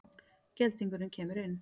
Geldingurinn kemur inn.